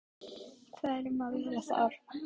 Hvað er um að vera þar?